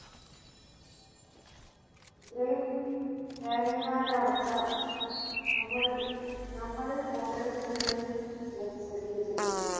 ഇത്രയും ദയനീമായ ഒരു അവസ്ഥ നമ്മുടെ നമ്മളിൽ ഓരോരുത്തരുടെയും മേൽ സൃഷ്ടിച്ചിരുന്നു.